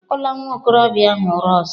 Akụla nwa okorobịa ahụ ụra ọzọ!